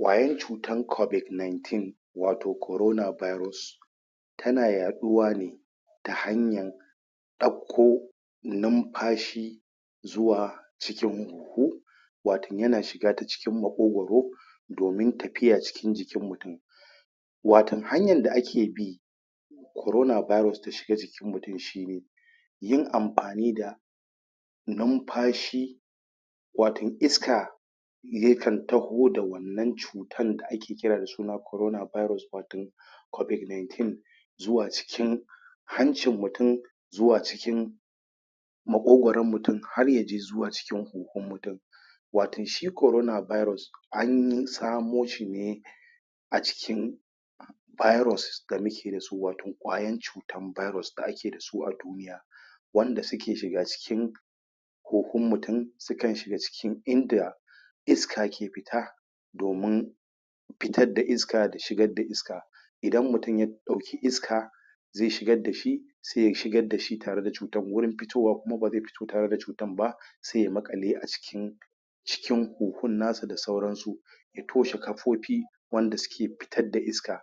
Ƙwayan cutar COVID-19 wato Corona Virus, tana yaɗuwa ne ta hanyan ɗakko nunfashi zuwa cikin huhu, wato yana shiga ta cikin maƙogoro domin tafiya cikin jikin mutum. Watun hanyad da ake bi Corona Virus ta shiga jikin mjutum shine, yin amfani da numfashi watin iska yakan taho da wannan cutan da ake kira Corona Virus watin COVID-19 zuwa cikin hancin mutum zuwa cikin maƙogoron mutum had ya je zuwa cikin kuhun mutum, watin shi CORONA VIRUS an samo shi ne a cikin viruses da muka da su watyo ƙwayan cutar virus da muke da su a duniya wanda suke shiga cikin kuhun mutum sukan shiga cikin inda iska ke fita domin fitad da iska da shigad da iska idan mutum ya ɗauki iska zai shigar da shi sai ya shigar da shi tare da cutar gurin fitowa kuma ba zai fito tare da cutan ba sai ya maƙale a ciki cikin kuhun na sa da sauransu, ya toshe kafofi wanda suke fitar da iska,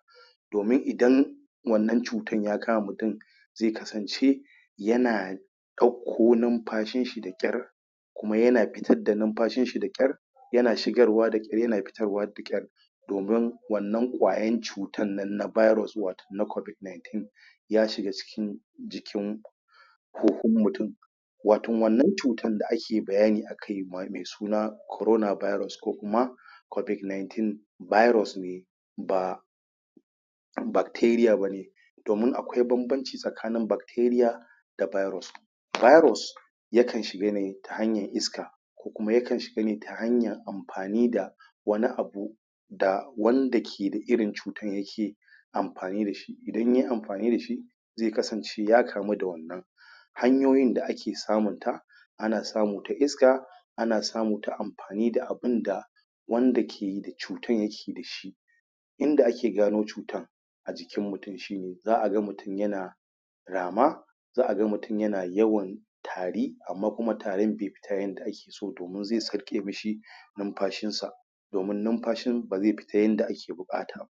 domin idan wannan cutan ya kama mutum zai kasance yana ɗauko numfashin shi da ƙyar, kuma yana fitar da numfashinshi da ƙyar, yana shigarwa da ƙyar, yana fitarwa da ƙyar domin wannan ƙwayan cutan nan na virus wato na COVID-19 ya shiga cikin jikin kuhun mutum. Watin wannan cutan da ake bayani akai me suna Corona Virus ko kuma COVID-19 virus ne ba bacteria bane domin akwai banbanci tsakanin bacteria, da virus. Virus, yakan shiga ne ta hanyan iska, ko kuma yakan shiga ne ta hanyan amfani da wani abu da wanda ke da irin cutan yake amfani da shi, idan yai amfani da shi, zai kasance ya kamu da wannan Hanyoyin da akew samunta ana samu ta Iska, ana samu ta amfani da abunda wanda ke da cutan yajke da shi, inda ake gano cutan a jikin mutum shine za'a ga mutum yana rama za'a ga mutum yana yawan tari amma kuma tarin bai fita yadda ake so domin zai sarƙe mishi numfashin sa domin numfashin ba zai fita yadda ake buƙata ba.